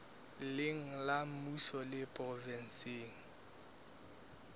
leng la mmuso le provenseng